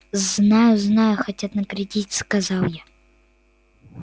знаю знаю хотят наградить сказал я